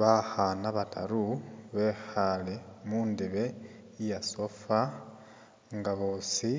Bakhaana bataru bekhale mundebe iya sofa nga bosi